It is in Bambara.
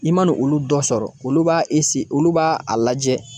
I mana olu dɔ sɔrɔ olu b'a olu b'a a lajɛ